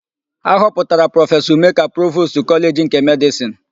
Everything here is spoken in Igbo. A họpụtara Prọfesọ Ume ka Provostu Kọleji nke Medịsịnụ.